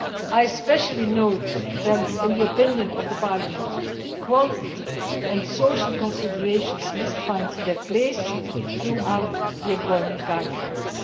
I especially note that, in the opinion of Parliament, qualitative and social considerations must find their place throughout the employment guidelines.